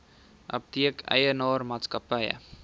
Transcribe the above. apteek eienaar maatskappy